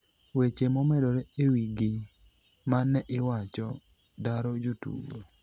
weche momedore e wi gi mane iwacho, daro jotugo